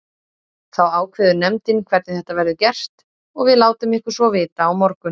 Þá ákveður nefndin hvernig þetta verður gert og við látum ykkur svo vita á morgun.